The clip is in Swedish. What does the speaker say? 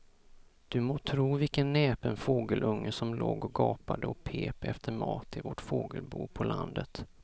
Du må tro vilken näpen fågelunge som låg och gapade och pep efter mat i vårt fågelbo på landet.